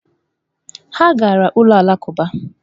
Ha gara ụlọ Alakụba